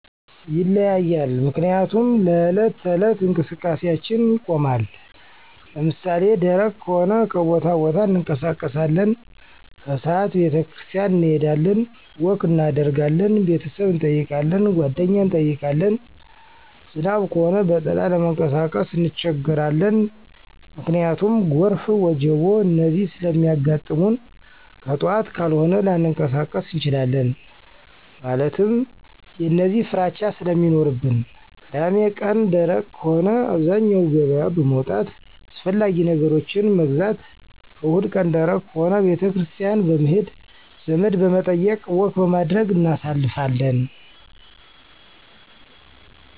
ይለያያል ምክንያቱም ለዕለት ተዕለት እንቀስቃሴአችን ይቆማን። ለምሳሌ ደረቅ ከሆነ ከቦታቦታ እንቀሳቀሳለን። ከስዓት ቤተክርስቲያን እንሄዳለን፣ ወክ እናደርጋለን፣ ቤተሰብ እንጠይቃለን፣ ጓደኛ እንጠይቃለን። ዝናብ ከሆነ በጥላ ለመንቀሳቀስ እንቸገራለን። ምክንያቱም ጎርፍ፣ ወጀቦ፣ እነዚህ ስለሚያጋጥሙንከጥዋት ካልሆነ ላንቀሳቀስ እንችላለን። ማለትም የእነዚህ ፍራቻ ስለሚኖርብን። ቅዳሜቀን ደረቅ ከሆነ አብዛኛው ገበያ በመዉጣት አስፈላጊ ነገሮችን መግዛት። እሁድቀን ደረቅ ከሆነ ቤተክርስቲያን በመሄድ፣ ዘመድበመጠየቅ፣ ወክበማድረግ እናሳልፋለን።